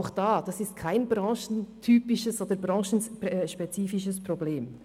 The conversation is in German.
Auch diesbezüglich handelt es sich nicht um ein branchenspezifisches Problem.